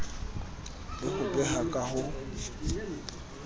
le ho beha ka ho